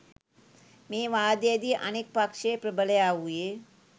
මේ වාදයේදී අනෙක් පක්ෂයේ ප්‍රබලයා වූයේ